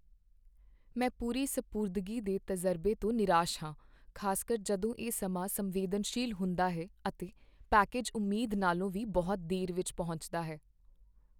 ਮੈਂ ਪੂਰੀ ਸਪੁਰਦਗੀ ਦੇ ਤਜ਼ਰਬੇ ਤੋਂ ਨਿਰਾਸ਼ ਹਾਂ, ਖ਼ਾਸਕਰ ਜਦੋਂ ਇਹ ਸਮਾਂ ਸੰਵੇਦਨਸ਼ੀਲ ਹੁੰਦਾ ਹੈ ਅਤੇ ਪੈਕੇਜ ਉਮੀਦ ਨਾਲੋਂ ਵੀ ਬਹੁਤ ਦੇਰ ਵਿੱਚ ਪਹੁੰਚਦਾ ਹੈ।